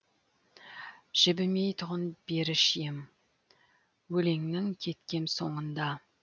жібімейтұғын беріш ем өлеңнің кеткем соңында